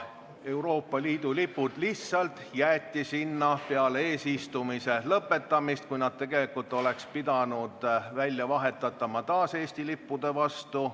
Euroopa Liidu lipud lihtsalt jäeti sinna peale eesistumise lõpetamist, kui nad tegelikult oleks pidanud välja vahetatama taas Eesti lippude vastu.